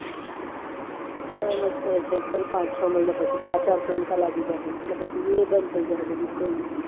હા પાંચ ચા મહિના પછી અચર્સહિતા લાગી જાહે એટલે એ બધું બંધ થાય જશે